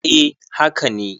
eh haka ne